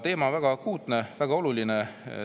Teema on väga akuutne, väga oluline.